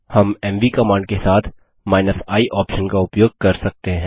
हम MV command के साथ i ऑप्शन का उपयोग कर सकते हैं